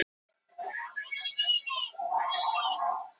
Aðstæðurnar gerast ekki betri hér á landinu.